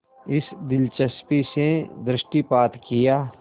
इस दिलचस्पी से दृष्टिपात किया